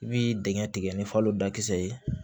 I bi dingɛ tigɛ ni falo dakisɛ ye